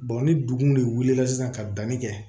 ni dugu de wulila sisan ka danni kɛ